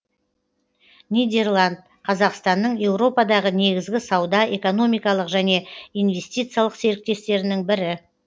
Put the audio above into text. нидерланд қазақстанның еуропадағы негізгі сауда экономикалық және инвестициялық серіктестерінің бірі